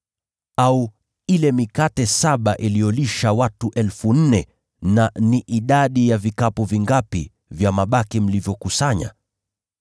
Au ile mikate saba iliyolisha watu 4,000 na idadi ya vikapu vingapi vya mabaki mlivyokusanya?